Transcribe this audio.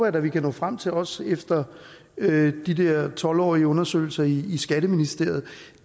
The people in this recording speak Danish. at vi kan nå frem til også efter de der tolv årige undersøgelser i skatteministeriet